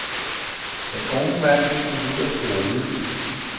Den unge mand blev smidt ud af skolen.